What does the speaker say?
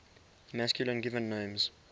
masculine given names